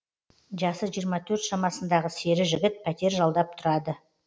жасы жиырма төрт шамасындағы сері жігіт пәтер жалдап тұрады